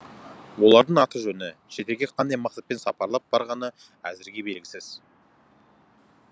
олардың аты жөні шетелге қандай мақсатпен сапарлап барғаны әзірге белгісіз